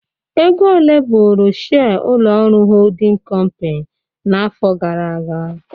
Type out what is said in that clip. Ego ole bụrụ shire ụlọ ọrụ holding kọmpin n'afọ gara aga?